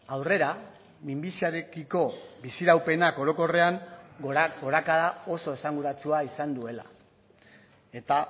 aurrera minbiziarekiko biziraupenak orokorrean gorakada oso esanguratsua izan duela eta